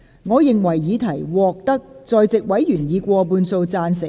我認為議題獲得在席委員以過半數贊成。